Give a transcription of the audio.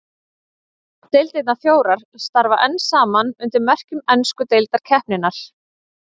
Deildirnar fjórar starfa enn saman undir merkjum ensku deildarkeppninnar.